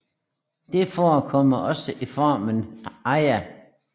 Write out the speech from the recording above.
Det forekommer også i formen Aia